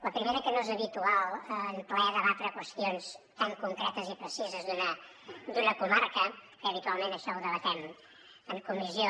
la primera que no és habitual en ple debatre qüestions tan concretes i precises d’una comarca que habitualment això ho debatem en comissió